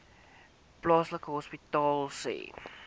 plaaslike hospitale sê